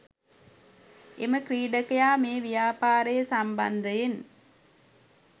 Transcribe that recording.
එම ක්‍රීඩකයා මේ ව්‍යාපාරය සම්බන්ධයෙන්